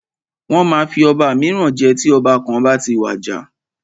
Wọ́n máa fi ọba míràn jẹ tí ọba kan bá ti wàjà.